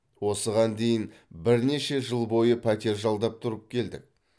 осыған дейін бірнеше жыл бойы пәтер жалдап тұрып келдік